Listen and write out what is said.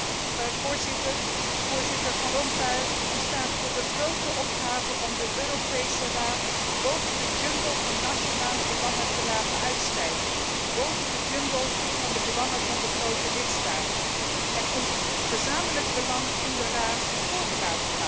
Voorzitter, voorzitter Van Rompuy, u staat voor de grote opgave om de Europese Raad boven de jungle van nationale belangen te laten uitstijgen, boven de jungle van de belangen van de grote lidstaten en ons gezamenlijk belang in de Raad te laten voorgaan.